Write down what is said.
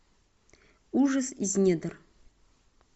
ужас из недр